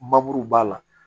b'a la